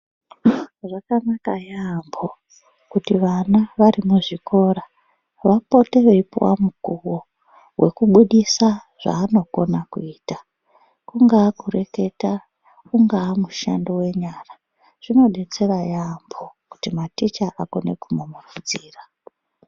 Zvakanaka yaambo kuti vana wari muzvikora wapote weipiwa mukuwo wekubudisa zvawanokona kuita. Kungawa kureketa, ungawa mushando wenyara zvinodetsera yaambo kuti maticha akone kumumurudzira.